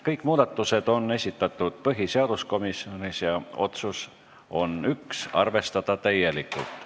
Kõik muudatusettepanekud on esitatud põhiseaduskomisjonis ja otsus on üks: arvestada täielikult.